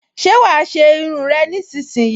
Ṣé wàá ṣe irun rẹ nísinsìnyí!